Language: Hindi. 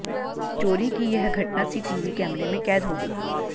चोरी की यह घटना सीटीवी कैमरे में कैद हो गई